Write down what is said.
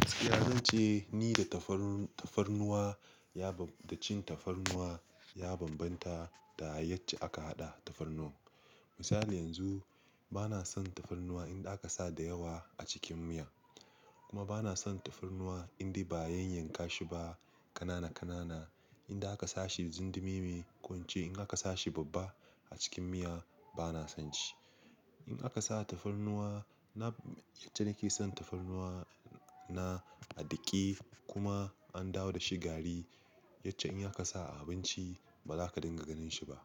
Gaskiya zan ce ni da tafarnuwa, da cin tafarnuwa ya bambanta da yace aka haɗa tafarnuwan. Misali yanzu bana son tafarnuwa in aka sa da yawa a cikin miya kuma bana son tafarnuwa in dai ba a yanyanka shi ba kanana-kanana, in da aka sa shi jimdemime, ko wance in aka sa shi babba a cikin miya bana son shi. In aka sa tafarnuwa na, yace na ke son tafarnuwa na a ɗake kuma an dawo da shi gari, yace in aka sa a abinci ba za ka dinga ganin shi ba.